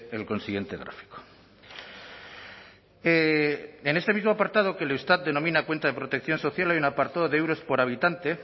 el consiguiente gráfico en este mismo apartado que el eustat denomina cuenta de protección social hay un apartado de euros por habitante